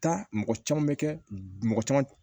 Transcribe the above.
Taa mɔgɔ caman bɛ kɛ mɔgɔ caman